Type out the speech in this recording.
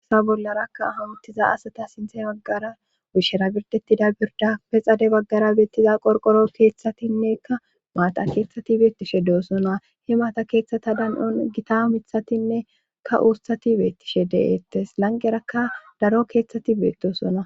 sa bollarakka hawuttiza asata sinthe baggara wushshera birdetida birda pexade baggara beettiza qorqoro keethtatinnekka maata keethtshati beettishe deosona he maata keeththata dan7on gita mithatinnekka uustati beettishe deettes lanqerakka daro keethtshati beetdosona